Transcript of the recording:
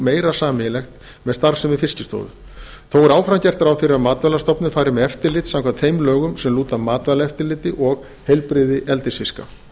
meira sameiginlegt með starfsemi fiskistofu þó er áfram gert ráð fyrir að matvælastofnun fari með eftirlit samkvæmt þeim lögum sem lúta að matvælaeftirliti og heilbrigði eldisfiska